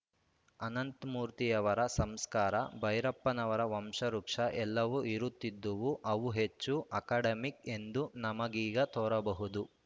ಅನಂತಮೂರ್ತಿಯವರ ಸಂಸ್ಕಾರ ಭೈರಪ್ಪನವರ ವಂಶವೃಕ್ಷ ಎಲ್ಲವೂ ಇರುತ್ತಿದ್ದುವು ಅವು ಹೆಚ್ಚು ಅಕಡೆಮಿಕ್‌ ಎಂದು ನಮಗೀಗ ತೋರಬಹುದು